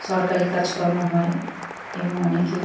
সরকারি কাজকর্ম হয় এবং অনেকেই।